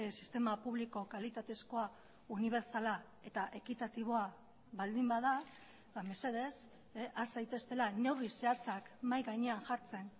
sistema publiko kalitatezkoa unibertsala eta ekitatiboa baldin bada mesedez has zaiteztela neurri zehatzak mahai gainean jartzen